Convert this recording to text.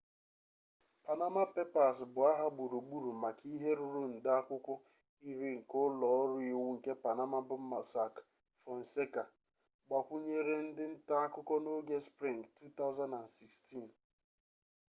panama papers bụ aha gburugburu maka ihe ruru nde akwụkwọ iri nke ụlọ ọrụ iwu nke panama bụ mossack fonseca gbakwunyere ndị nta akụkọ n'oge sprịng 2016